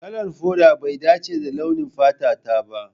Kalar foda bai dace da launin fata ta ba.